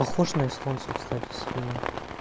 похож на эстонцев кстати сильно